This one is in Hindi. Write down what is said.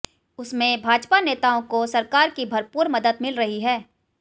उसमें भाजपा नेताओं और सरकार की भरपूर मदद मिल रही है